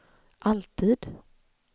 alltid